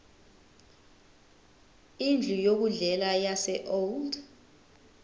indlu yokudlela yaseold